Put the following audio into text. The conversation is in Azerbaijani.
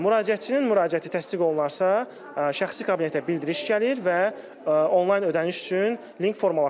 Müraciətçinin müraciəti təsdiq olunarsa, şəxsi kabinetə bildiriş gəlir və onlayn ödəniş üçün link formalaşır.